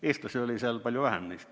Eestlasi oli neist palju vähem.